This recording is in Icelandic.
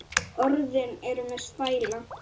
Orðin eru með stæla.